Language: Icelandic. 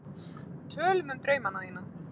Tölum um draumana þína.